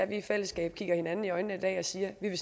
vi i fællesskab kigger hinanden i øjnene en dag og siger vi vil